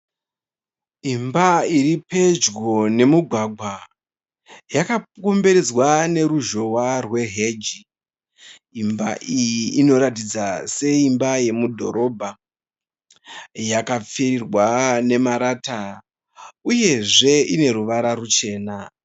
Imba iri pedyo nemugwagwa. Yakakomberedzwa neruzhowa rweheji. Imba iyi inoratidza seimba yemudhorobha. Yakapfirirwa nemarata uyezve ine ruvara ruchena.